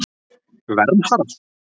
Vernharð